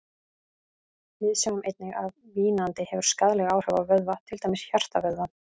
Við sjáum einnig að vínandi hefur skaðleg áhrif á vöðva, til dæmis hjartavöðvann.